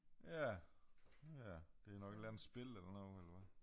Ja ja det nok et eller andet spil eller noget eller hvad